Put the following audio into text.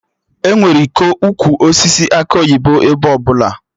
Enwere ịkọ Ukwu osisi akị oyibo ebe ọbụla